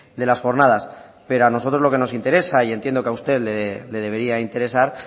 de las jornadas pero a nosotros lo que nos interesa y entiendo a que usted le debería interesar